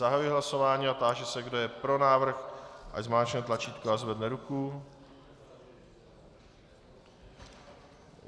Zahajuji hlasování a táži se, kdo je pro návrh, ať zmáčkne tlačítko a zvedne ruku.